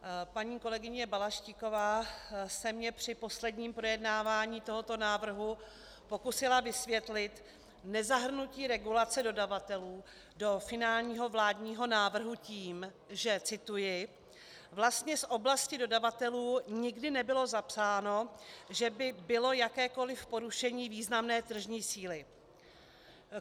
Paní kolegyně Balaštíková se mi při posledním projednávání tohoto návrhu pokusila vysvětlit nezahrnuté regulace dodavatelů do finálního vládního návrhu tím, že - cituji - "vlastně z oblasti dodavatelů nikdy nebylo zapsáno, že by bylo jakékoliv porušení významné tržní síly".